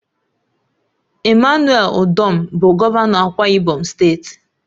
EMMANUEL UDOM bụ gọvanọ Akwa Ibom steeti